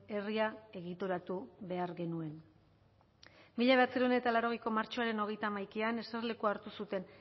herria egituratu behar genuen mila bederatziehun eta laurogeiko martxoaren hogeita hamaikan eserlekua hartu zuten